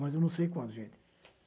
Mas eu não sei quando, gente.